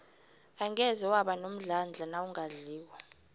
angeze waba nomdlandla nawungadliko